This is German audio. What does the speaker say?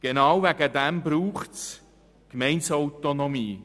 Genau deswegen braucht es die Gemeindeautonomie.